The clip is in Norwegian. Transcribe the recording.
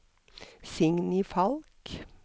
Signy Falch